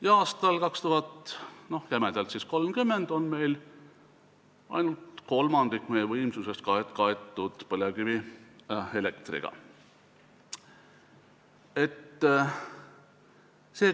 Jämedalt võttes on 2030 meil ainult kolmandik meie tarbitavast võimsusest kaetud põlevkivielektriga.